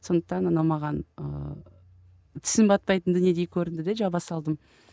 сондықтан анау маған ыыы тісім батпайтын дүниедей көрінді де жаба салдым